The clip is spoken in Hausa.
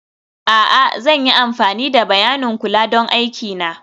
a'a, zan yi amfani da bayanin kula don aiki na